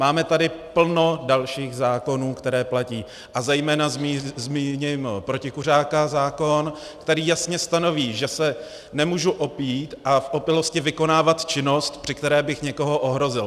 Máme tady plno dalších zákonů, které platí, a zejména zmíním protikuřácký zákon, který jasně stanoví, že se nemůžu opít a v opilosti vykonávat činnost, při které bych někoho ohrozil.